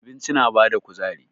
Abinci na bada kuzari.